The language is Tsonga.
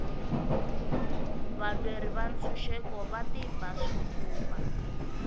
valweri va ntshuxeko va tiba swifuva